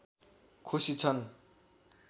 खुसी छन्